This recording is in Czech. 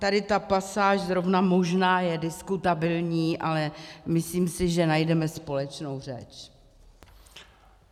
Tady ta pasáž zrovna možná je diskutabilní, ale myslím si, že najdeme společnou řeč.